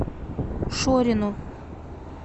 шорину